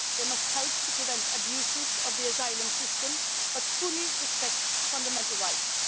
They must help to prevent abuses of the asylum system, but fully respect fundamental rights.